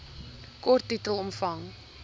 kort titel omvang